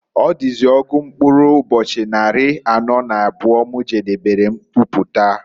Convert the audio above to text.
Ọdịzị ọgụ mkpụrụ ụbọchị nnarị anọọ na abụọ m jedebere mkwụpụta.